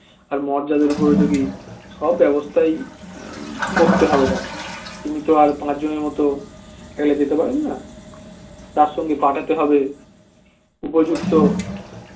আর মর্যাদার উপরে যদি সব ব্যবস্থাই করতে হবে তাকে তিনি তো আর পাঁচ জনের মত একা যেতে পারেন না তার সঙ্গে পাঠাতে হবে উপযুক্ত